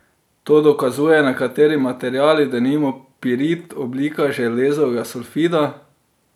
To dokazujejo nekateri materiali, denimo pirit, oblika železovega sulfida.